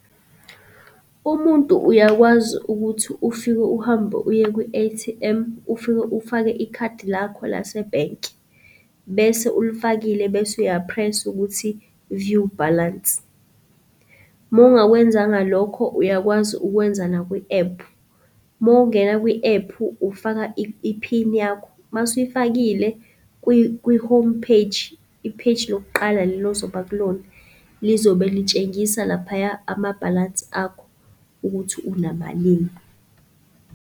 Umuntu uyakwazi ukuthi ufike uhambe uye kwi-A_T_M ufike ufake ikhadi lakho lase-Bank, bese ulifakile bese uya-press ukuthi view balance. Uma ungakwenzanga lokho, uyakwazi ukwenza nakwi-app. Uma ungena kwi-ephu ufaka iphini yakho, masuyifakile kwi-home page, i-page lokuqala lelozoba kulona, lizobe litshengisa laphaya amabhalansi akho ukuthi unamalini.